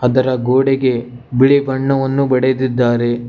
ಅದರ ಗೋಡೆಗೆ ಬಿಳಿ ಬಣ್ಣವನ್ನು ಬಡೆದಿದ್ದಾರೆ.